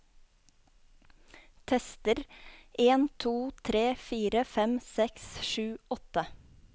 Tester en to tre fire fem seks sju åtte